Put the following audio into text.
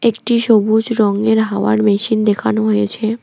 একটি সবুজ রঙের হাওয়ার মেশিন দেখানো হয়েছে।